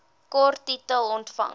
kort titel omvang